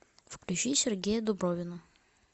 включи сергея дубровина